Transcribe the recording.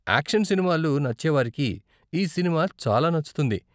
Action సినిమాలు నచ్చేవారికి ఈ సినిమా చాలా నచ్చుతుంది.